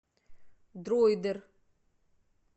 дроидер